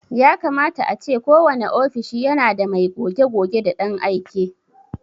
Yakama ace kowane ofishi yana da mai goge-goge da ɗan aike.